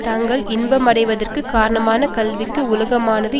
தாங்கள் இன்பமடைவதற்குக் காரணமான கல்விக்கு உலகமானது